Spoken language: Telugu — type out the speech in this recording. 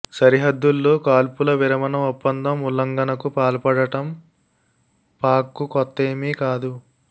సరిహద్దుల్లో కాల్పుల విరమణ ఒప్పందం ఉల్లంఘనలకు పాల్పడటం పాక్కు కొత్తేమి కాదు